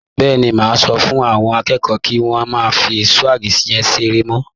Bẹ́ẹ̀ni, màá sọ fún àwọn akẹ́kọ̀ọ́ kí wọ́n má fí súwíìgì yẹn ṣeré mọ́?